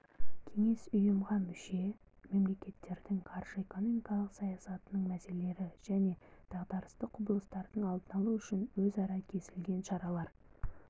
кеңес ұйымға мүше мемлекеттердің қаржы-экономикалық саясатының мәселелері және дағдарыстық құбылыстардың алдын алу үшін өзара келісілген шаралар